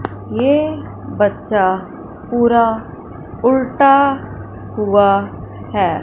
ये बच्चा पूरा उल्टा हुआ है।